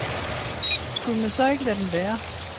Skulle man så ikke lade den være?